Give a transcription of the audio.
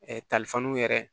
yɛrɛ